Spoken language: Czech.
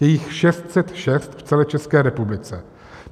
Je jich 606 v celé České republice.